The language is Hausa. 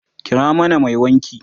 kira mana Mai wanki!